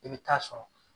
I bɛ taa sɔrɔ